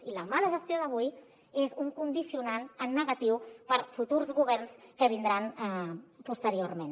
i la mala gestió d’avui és un condicionant en negatiu per a futurs governs que vindran posteriorment